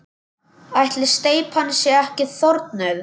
Ætli steypan sé ekki þornuð?